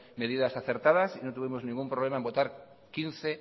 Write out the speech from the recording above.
medidas acertadas y no tuvimos ningún problema en votar quince